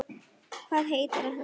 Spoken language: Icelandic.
Hvað heitir hann?